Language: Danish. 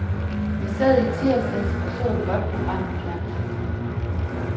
Jeg sad i tirsdags og så et godt program i fjernsynet.